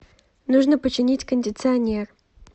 нужно починить кондиционер